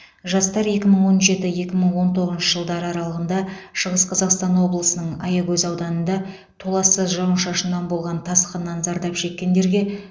жастар екі мың он жеті екі мың он тоғызыншы жылдар аралығында шығыс қазақстан облысының аягөз ауданында толассыз жауын шашыннан болған тасқыннан зардап шеккендерге